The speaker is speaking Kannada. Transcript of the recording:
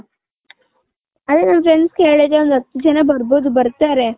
ಅದೇ ನನ್ friends ಗೆ ಹೇಳಿದ್ದೆ ಒಂದ್ ಹತ್ ಜನ ಬರ್ಬೌದು ಬರ್ತಾರೆ.